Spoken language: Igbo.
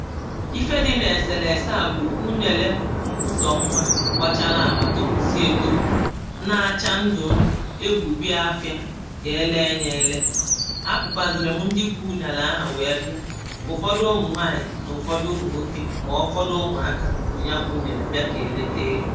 ife dị n’èsèlèse à bụ̀ ụnụ̀ èle mbusò mmȧ gbachara àgba topùsịa etopù na-acha ndụ̀ ndụ̀ egwù bi afịa kà e leė ya ele a pụkwazìrì m ndị bu n’àlà ahà wee bịa ụfọdụ ụmụ̀ nwaànyị̀ n’ụfọdụ ụmụ̀ nwokė mà ọ̀tụtụ ụmụ̀ aka bụ̀ nya gbụ̇ ụnụ̀ èlebìa kà èlete egȯ.